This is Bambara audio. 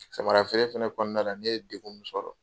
Samara feere fɛnɛ kɔnɔna la ne ye degun min sɔrɔ.